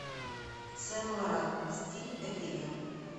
сен лоран стиль это я